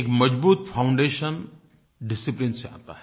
एक मजबूत foundation discipline से आता है